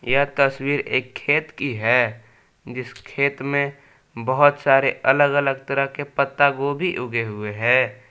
यह तस्वीर एक खेत की है जिस खेत में बहुत सारे अलग अलग तरह के पत्ता गोबी उगे हुए है।